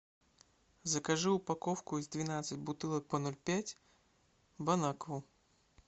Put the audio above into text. закажи упаковку из двенадцати бутылок по ноль пять бон акву